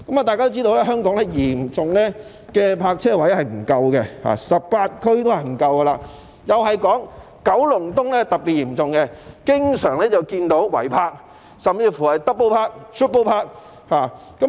大家也知道，香港泊車位嚴重不足 ，18 區都不足夠，而九龍東的情況又是特別嚴重，經常看到違泊，甚至是 double park 或 triple park 的情況。